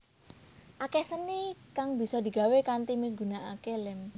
Akeh seni kang bisa digawé kanthi migunakake lem